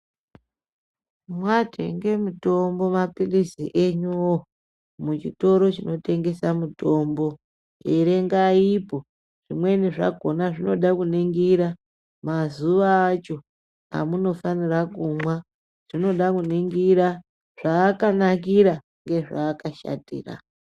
Mwatenge mitombo maphirizi enyuvo muchitoro chinotengesa mitombo. Erengaipo zvimweni zvakona zvinoda kuningira mazuva acho amunofanira kumwa zvinoda kuningira zvaakanakira ngezvaakashatira.